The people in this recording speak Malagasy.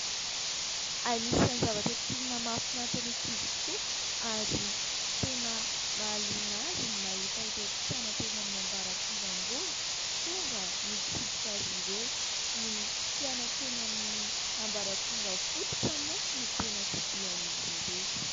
Anisany zavatra tena mahafinaritra ny ankizy tokoa ary tena mahaliana azy ny mahita ireo mpianatra eny amin'ny ambaratonga ambony tonga mitsidika azy ireo. Ny mpianatra eny amin'ny ambaratonga fototra moa no tena tsidihan'izy ireo.